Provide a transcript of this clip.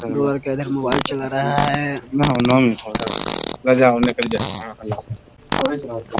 Mobile चला रहा है ।